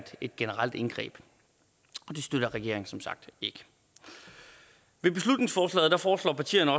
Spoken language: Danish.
et generelt indgreb det støtter regeringen som sagt ikke med beslutningsforslaget foreslår partierne